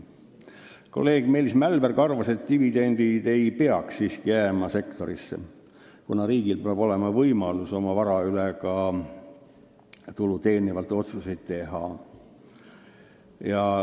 Kolleeg Meelis Mälberg arvas, et dividendid ei peaks siiski sektorisse jääma ja riigil peab olema võimalus oma vara üle otsustada, sh tulu teenivaid otsuseid teha.